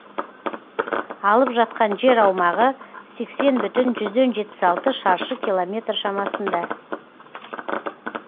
алып жатқан жер аумағы сексен бүтін жүзден жетпіс алты шаршы километр шамасында